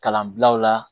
Kalanbilaw la